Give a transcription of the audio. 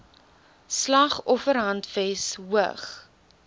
slag offerhandves hoog